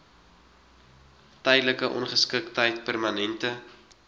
tydelike ongeskiktheid permanente